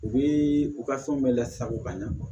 U bɛ u ka fɛnw bɛɛ lasago ka ɲɛ